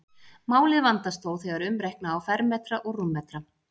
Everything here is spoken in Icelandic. málið vandast þó þegar umreikna á fermetra og rúmmetra